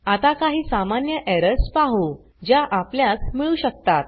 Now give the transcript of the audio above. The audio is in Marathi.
आता काही सामान्य एरर्स पाहु ज्या आपल्यास मिळू शकतात